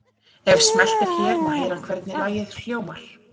Ef smellt er hér má heyra hvernig lagið hljómar.